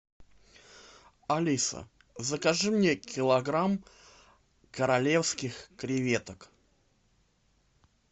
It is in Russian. алиса закажи мне килограмм королевских креветок